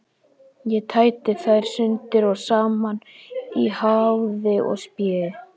Ég tæti þær sundur og saman í háði og spéi.